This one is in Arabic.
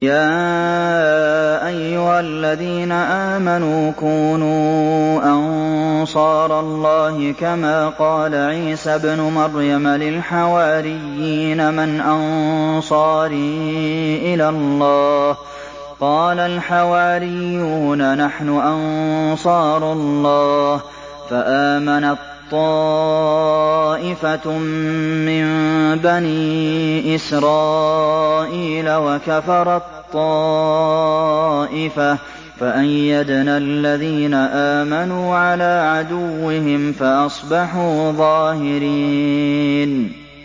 يَا أَيُّهَا الَّذِينَ آمَنُوا كُونُوا أَنصَارَ اللَّهِ كَمَا قَالَ عِيسَى ابْنُ مَرْيَمَ لِلْحَوَارِيِّينَ مَنْ أَنصَارِي إِلَى اللَّهِ ۖ قَالَ الْحَوَارِيُّونَ نَحْنُ أَنصَارُ اللَّهِ ۖ فَآمَنَت طَّائِفَةٌ مِّن بَنِي إِسْرَائِيلَ وَكَفَرَت طَّائِفَةٌ ۖ فَأَيَّدْنَا الَّذِينَ آمَنُوا عَلَىٰ عَدُوِّهِمْ فَأَصْبَحُوا ظَاهِرِينَ